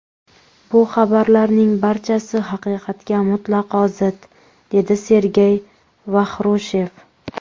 Bu xabarlarning barchasi haqiqatga mutlaqo zid”, dedi Sergey Vaxrushev.